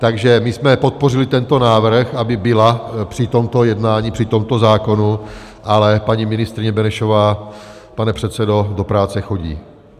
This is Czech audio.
Takže my jsme podpořili tento návrh, aby byla při tomto jednání, při tomto zákonu, ale paní ministryně Benešová, pane předsedo, do práce chodí.